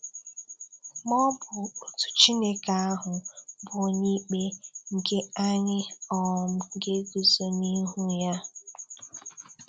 Ma ọ bụ otu Chineke ahụ bụ Onyeikpe nke anyị um ga-eguzo n'ihu Ya. um